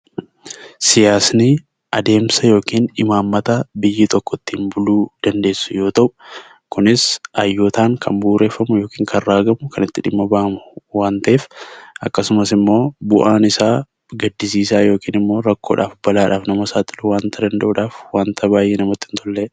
Siyaasni adeemsa yookiin imaammata biyyi tokko ittiin buluu dandeessu yoo ta'u, kunis hayyootaan kan bu'uureffamu yookiin kan raagamu, kan itti dhimma ba'amu waan ta'eef akkasumas immoo bu'aan isaa gaddisiisaa yookiin immoo rakkoodhaaf balaadhaaf nama saaxiluu wanta danda'uudhaa fi wanta baay'ee namatti hin tollee dha.